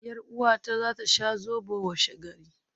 Yar uwata za ta sha Zobo washegari